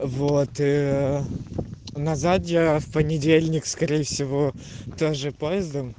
вот ээ назад я в понедельник скорее всего тоже поездом